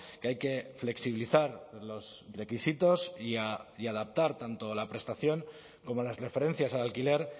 que hay que flexibilizar los requisitos y adaptar tanto la prestación como las referencias al alquiler